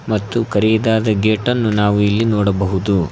ಮತ್ತು ಕರಿದಾದ ಗೇಟನ್ನು ನಾವು ಇಲ್ಲಿ ನೋಡಬಹುದು.